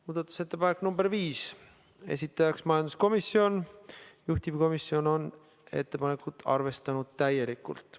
Muudatusettepanek nr 5, esitajaks majanduskomisjon, juhtivkomisjon on ettepanekut arvestanud täielikult.